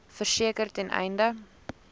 verseker ten einde